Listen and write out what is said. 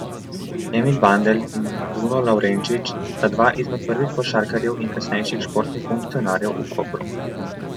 Emil Bandelj in Bruno Lavrenčič sta dva izmed prvih košarkarjev in kasnejših športnih funkcionarjev v Kopru.